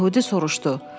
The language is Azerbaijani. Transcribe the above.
Yəhudi soruştu.